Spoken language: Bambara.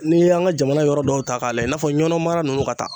N'i y'an ka jamana yɔrɔ dɔw ta k'a lajɛ i n'a fɔ ɲɔnɔ mara nunnu ka taa